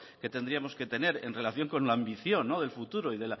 que tendríamos que tener en relación con la ambición el futuro